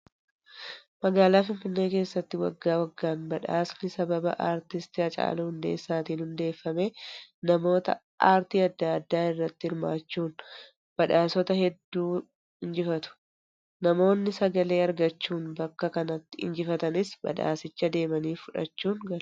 Magaalaa Finfinnee keessatti waggaa waggaan badhaasni sababa artist Hacaaluu Hundeessaatiin hundeeffame namoota aartii adda addaa irratti hirmaachuun badhaasota hedduu injifatu. Namoonni sagalee argachuun bakka kanatti injifatanis badhaasicha deemanii fudhachuun galu.